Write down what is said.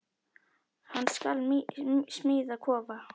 Hann skal smíða kofa.